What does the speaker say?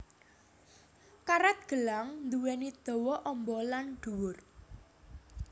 Karet gelang duwéni dawa amba lan dhuwur